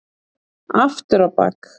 Aftur á bak.